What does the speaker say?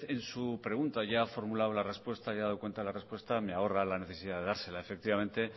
en su pregunta ya ha formulado la respuesta y ya ha dado cuenta de la respuesta me ahorra la necesidad de dársela efectivamente